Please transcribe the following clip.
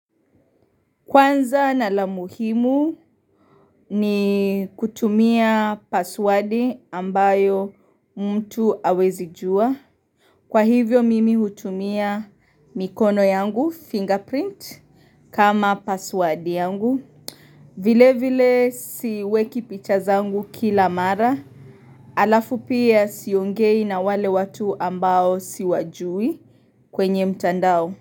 Kwanza na la muhimu ni kutumia paswadi ambayo mtu hawezi jua. Kwa hivyo mimi hutumia mikono yangu fingerprint kama paswadi yangu. Vile vile siweki picha zangu kila mara. Alafu pia siongei na wale watu ambao siwajui kwenye mtandao.